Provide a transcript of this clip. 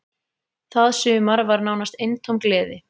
Það sumar var nánast eintóm gleði.